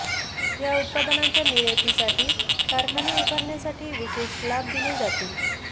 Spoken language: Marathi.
या उत्पादनांच्या निर्यातीसाठी कारखाने उभारण्यासाठी विशेष लाभ दिले जातील